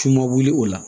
F'i ma wuli o la